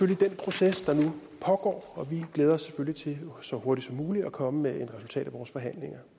den proces der nu pågår og vi glæder os til så hurtigt som muligt at komme med et resultat af vores forhandlinger